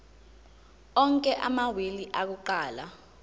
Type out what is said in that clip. onke amawili akuqala